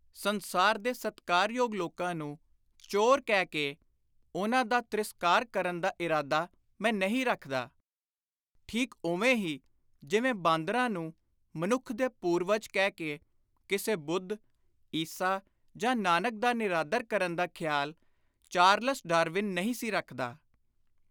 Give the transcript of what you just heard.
ਸੰਸਾਰ ਦੇ ਸਤਿਕਾਰਯੋਗ ਲੋਕਾਂ ਨੂੰ ਚੋਰ ਕਹਿ ਕੇ ਉਨ੍ਹਾਂ ਦਾ ਤਿ੍ਸਕਾਰ ਕਰਨ ਦਾ ਇਰਾਦਾ ਮੈਂ ਨਹੀਂ ਰੱਖਦਾ, ਠੀਕ ਉਵੇਂ ਹੀ ਜਿਵੇਂ ਬਾਂਦਰਾਂ ਨੂੰ ਮਨੁੱਖ ਦੇ ਪੁਰਵਜ ਕਹਿ ਕੇ ਕਿਸੇ ਬੁੱਧ, ਈਸਾ ਜਾਂ ਨਾਨਕ ਦਾ ਨਿਰਾਦਰ ਕਰਨ ਦਾ ਖ਼ਿਆਲ ਚਾਰਲਸ ਡਾਰਵਿਨ ਨਹੀਂ ਸੀ ਰੱਖਦਾ।